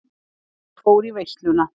Ég fór í veisluna.